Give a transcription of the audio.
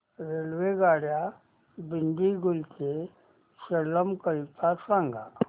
रेल्वेगाड्या दिंडीगुल ते सेलम करीता सांगा